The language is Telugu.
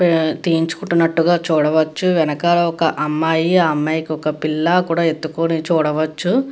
హా తీయించుకుంటున్నట్టుగ చూడవచ్చు. వెనకాల ఒక అమ్మాయి ఆ అమ్మాయి కి ఒక పిల్ల కూడా ఎత్తుకొని చూడవచ్చు.